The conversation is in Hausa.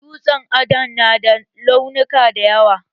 Dutsen adon na da launuka da yawa